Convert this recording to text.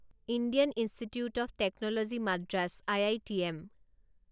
Indian Institute of Technology Madras I I T M